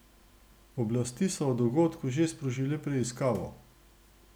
Oblasti so o dogodku že sprožile preiskavo.